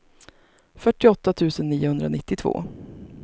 fyrtioåtta tusen niohundranittiotvå